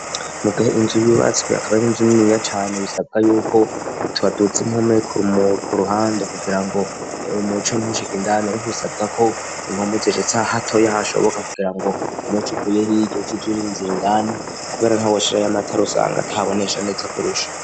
Mugahe inzu y'ubatswe yakaba n'inzu niniya cane bisabwa yuko utbaduza inkome ku ruhande kugira ngo umwco ntushika indani, ariko bisabwa ko inkumbuzecets a hato yahashoboka kugira ngo umuce uvuyehi igiosize urinzuya indani, kubera nt'awoshira y'amatara usanga tabonesha, ndetse kurusha.